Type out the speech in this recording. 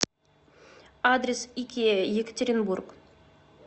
адрес икеа екатеринбург